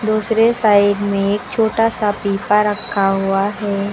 दूसरे साईड में एक छोटा सा पीपा रखा हुआ है।